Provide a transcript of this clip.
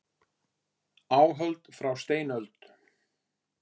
Áhöld frá steinöld.